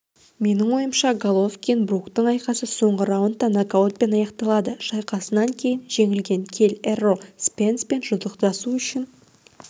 менің ойымша головкин-бруктің айқасы соңғы раундта нокаутпен аяқталады шайқасынан кейін жеңілген келл эррол спенспен жұдырықтасу үшін